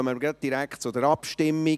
Somit kommen wir direkt zur Abstimmung.